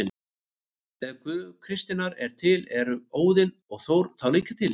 Ef Guð kristninnar er til, eru Óðinn og Þór þá líka til?